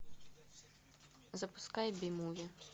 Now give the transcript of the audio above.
запускай би муви